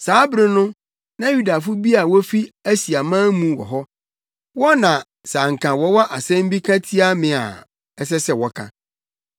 Saa bere no, na Yudafo bi a wofi Asiaman mu wɔ hɔ. Wɔn na sɛ anka wɔwɔ asɛm bi ka tia me a ɛsɛ sɛ wɔka.